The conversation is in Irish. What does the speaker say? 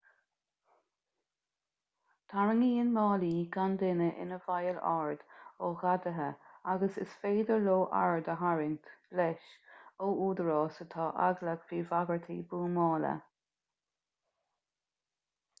tarraingíonn málaí gan duine ina bhfeighil aird ó ghadaithe agus is féidir leo aird a tharraingt leis ó údaráis atá eaglach faoi bhagairtí buamála